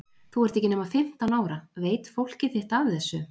Þú ert ekki nema fimmtán ára. veit fólkið þitt af þessu?